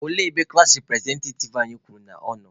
Olee ebe klassi repụrezentativ anyị kwuru na ọ nọ?